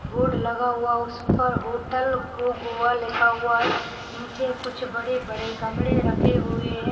Board लगा हुआ उस पर होटल गो गोवा लिखा हुआ है निचे कुछ बड़े बड़े गमले रखे हुए है।